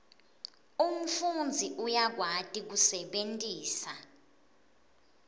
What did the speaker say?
umfundzi uyakwati kusebentisa